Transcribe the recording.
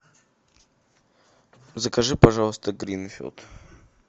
закажи пожалуйста гринфилд